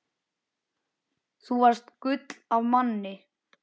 Þú varst gull af manni.